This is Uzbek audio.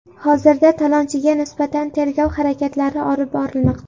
Hozirda talonchiga nisbatan tergov harakatlari olib borilmoqda.